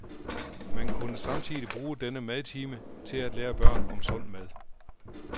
Man kunne samtidig bruge denne madtime til at lære børn om sund mad.